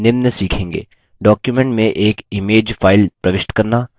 document में एक image चित्र file प्रविष्ट करना